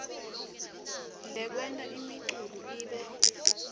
lekwenta imiculu ibe